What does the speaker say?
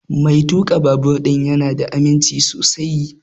Mai tuƙa babur ɗin ya na da aminci sosai